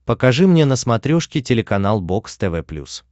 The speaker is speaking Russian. покажи мне на смотрешке телеканал бокс тв плюс